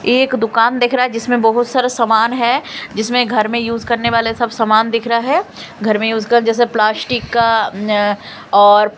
एक दुकान दिख रहा है जिसमें बहुत सारा सामान है जिसमें घर में यूज करने वाले सब सामान दिख रहा है घर में यूज कर जैसे प्लास्टिक का ञ और--